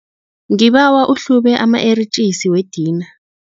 Ngibawa uhlube ama-eritjisi wedina.